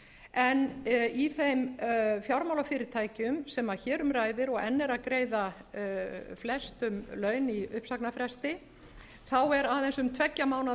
en í þeim fjármálafyrirtækjum sem hér um ræðir og enn eru að greiða flestum laun í uppsagnarfresti er aðeins um tveggja mánaða innköllunarfrest að ræða